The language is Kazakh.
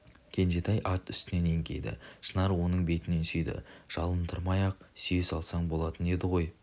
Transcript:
кенжетай ат үстінен еңкейді шынар оның бетінен сүйді жалындырмай-ақ сүйе салсаң болатын еді ғой